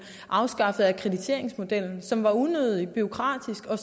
afskaffede akkrediteringsmodellen som var unødig bureaukratisk og